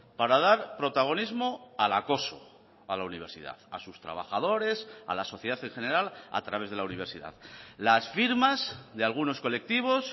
para dar protagonismo al acoso a la universidad a sus trabajadores a la sociedad en general a través de la universidad las firmas de algunos colectivos